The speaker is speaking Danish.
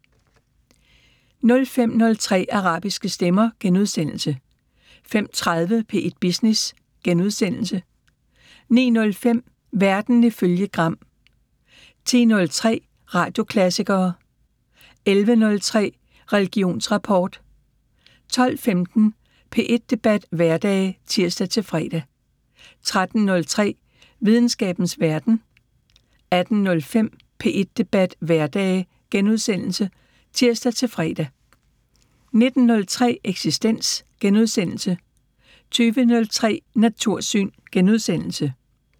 05:03: Arabiske stemmer * 05:30: P1 Business * 09:05: Verden ifølge Gram 10:03: Radioklassikere 11:03: Religionsrapport 12:15: P1 Debat hverdage (tir-fre) 13:03: Videnskabens Verden 18:05: P1 Debat hverdage *(tir-fre) 19:03: Eksistens * 20:03: Natursyn *